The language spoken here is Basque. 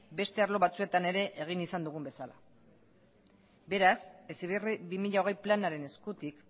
beste arlo batzuetan ere egin izan dugun bezala beraz heziberri bi mila hogei planaren eskutik